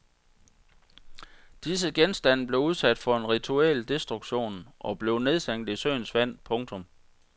Disse genstande blev udsat for en rituel destruktion og blev nedsænket i søens vand. punktum